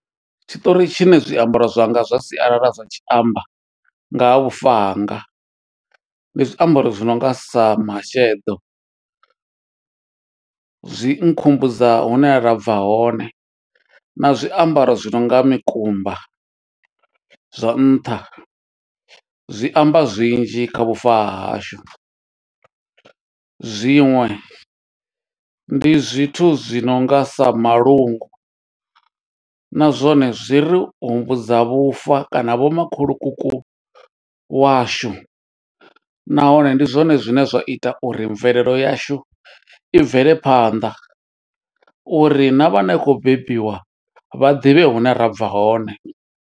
Tshiṱori tshine zwiambaro zwanga zwa sialala zwa tshi amba, nga ha vhufa hanga. Ndi zwiambaro zwi nonga sa masheḓo, zwi nkhumbudza hune ra bva hone, na zwiambaro zwi nonga mikumba zwa nṱha, zwi amba zwinzhi kha vhufa ha hashu. Zwiṅwe ndi zwithu zwi nonga sa malungu, na zwone zwi ri humbudza vhufa kana vho makhulukuku washu. Nahone ndi zwone zwine zwa ita uri mvelelo yashu, i bvele phanḓa uri na vhane i khou bebiwa, vha ḓivhe hune ra bva hone.